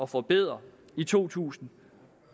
forbedre i to tusind